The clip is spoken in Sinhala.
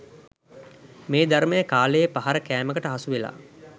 මේ ධර්මය කාලයේ පහර කෑමකට හසුවෙලා